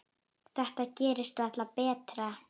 Þetta gerist varla betra.